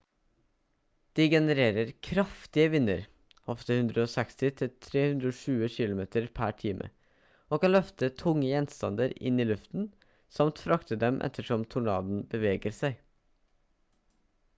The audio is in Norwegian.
de genererer kraftige vinder ofte 160-320 kilometer/time og kan løfte tunge gjenstander inn i luften samt frakte dem ettersom tornadoen beveger seg